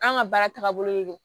An ka baara tagabolo de don